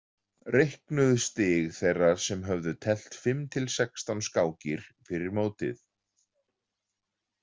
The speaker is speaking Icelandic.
Reiknuð stig þeirra sem höfðu teflt fimm til sextán skákir fyrir mótið.